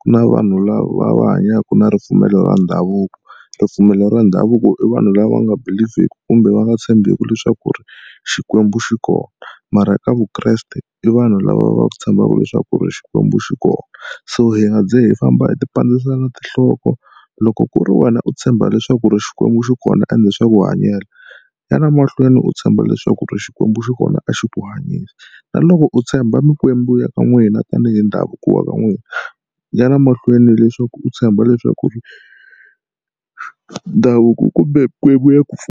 ku na vanhu lava va hanyaka na ripfumelo ra ndhavuko. Ripfumelo ra ndhavuko i vanhu lava nga believe-ki kumbe va nga tshembeki leswaku ri Xikwembu xi kona mara ka vukreste i vanhu lava va tshembaka leswaku ri Xikwembu xi kona. So hi nga ze hi famba hi tipandzisa na tinhloko loko ku ri wena u tshemba leswaku ri Xikwembu xi kona ende swa ku hanyela ya na mahlweni u tshemba leswaku ri xikwembu xi kona a xi ku na loko u tshemba mikwembu ya ka n'wina tanihi ndhavuko wa ka n'wina ya na mahlweni leswaku u tshemba leswaku ri ndhavuko kumbe mikwembu ya ku.